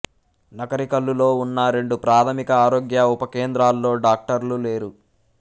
నకరికల్లులో ఉన్న రెండు ప్రాథమిక ఆరోగ్య ఉప కేంద్రాల్లో డాక్టర్లు లేరు